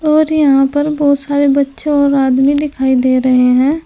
और यहां पर बहुत सारे बच्चे और आदमी दिखाई दे रहे हैं।